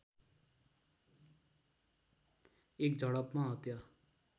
एक झडपमा हत्या